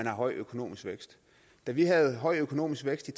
høj økonomisk vækst da vi havde en høj økonomisk vækst i